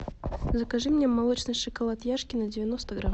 закажи мне молочный шоколад яшкино девяносто грамм